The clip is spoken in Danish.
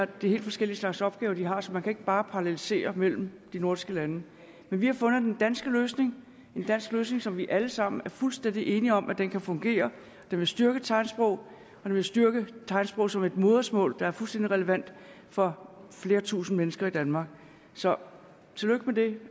det er helt forskellige slags opgaver de har så man kan ikke bare parallelisere mellem de nordiske lande men vi har fundet den danske løsning en dansk løsning som vi alle sammen er fuldstændig enige om kan kan fungere og den vil styrke tegnsprog den vil styrke tegnsprog som et modersmål der er fuldstændig relevant for flere tusinde mennesker i danmark så tillykke med det